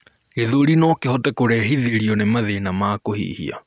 gĩthũri nokihote kurehithirio ni mathĩna ma kuhihia